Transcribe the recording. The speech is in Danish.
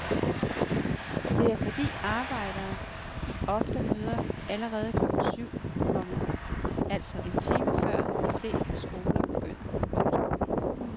Det er fordi arbejdere ofte møder allerede klokken syv, komma altså en time før de fleste skoler begynder. punktum